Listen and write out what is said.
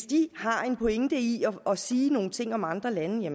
de har en pointe i at sige nogle ting om andre lande